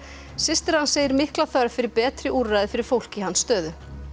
systir hans segir mikla þörf fyrir betri úrræði fyrir fólk í hans stöðu